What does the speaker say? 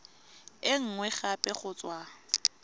e nngwe gape go tswa